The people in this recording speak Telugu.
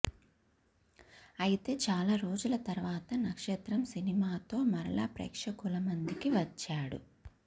అయితే చాలా రోజుల తర్వాత నక్షత్రం సినిమాతో మరల ప్రేక్షకుల ముందికి వచ్చాడు